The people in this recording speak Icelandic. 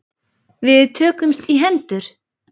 Við tökumst í hendur.